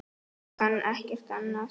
Ég kann ekkert annað.